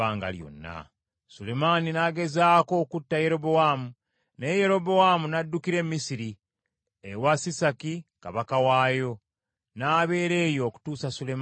Sulemaani n’agezaako okutta Yerobowaamu, naye Yerobowaamu n’addukira e Misiri, ewa Sisaki kabaka waayo, n’abeera eyo okutuusa Sulemaani bwe yafa.